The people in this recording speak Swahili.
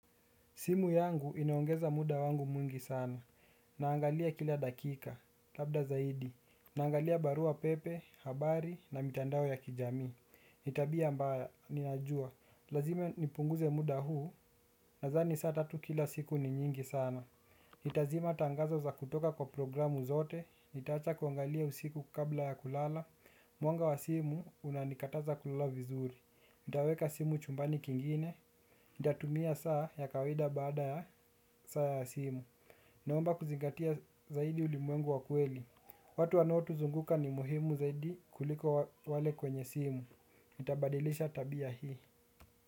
Simu yangu inaongeza muda wangu mwingi sana, naangalia kila dakika, labda zaidi, naangalia barua pepe, habari, na mitandao ya kijami. Ni tabia mbaya, ninajua, lazima nipunguze muda huu, nadhani saa tatu kila siku ni nyingi sana. Itazima tangazo za kutoka kwa programu zote, ntaacha kuangalia usiku kabla ya kulala, mwanga wa simu unanikataza kulala vizuri, nitaweka simu chumbani kingine. Natumia saa ya kawaida baada ya saa ya simu. Naomba kuzingatia zaidi ulimuengu wa kuweli. Watu wanao tuzunguka ni muhimu zaidi kuliko wale kwenye simu. Itabadilisha tabia hii.